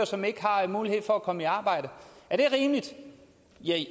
som ikke har mulighed for at komme i arbejde er det rimeligt